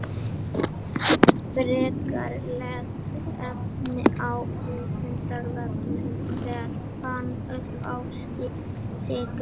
Frekara lesefni á Vísindavefnum: Hver fann uppá sykri?